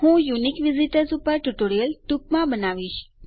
હું unique visitors ઉપર tutorial ટૂંકમાં બનાવીશ